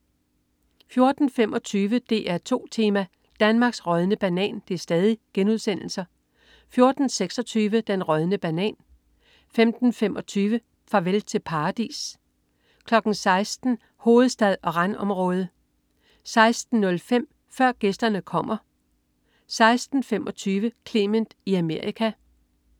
14.25 DR2 Tema: Danmarks rådne banan* 14.26 Den rådne banan* 15.25 Farvel Til Paradis* 16.00 Hovedstad og randområde* 16.05 Før Gæsterne Kommer* 16.25 Clement i Amerika*